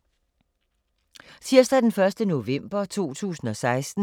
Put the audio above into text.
Tirsdag d. 1. november 2016